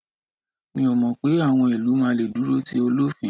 mi o mọ pé awọn ilu ma le duro ti olofin